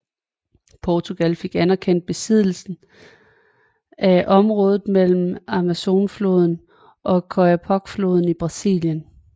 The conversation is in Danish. Portugal fik anerkendt besiddelsen af området mellem Amazonfloden og Oyapock floden i Brasilien